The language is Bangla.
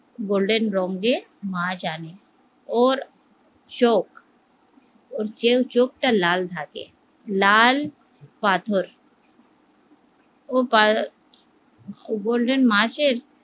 বললেন লোক দিয়ে মাছ আনতে ওর চোখ কেউ চোখটা লাল থাকে লাল পাথর ও বললেন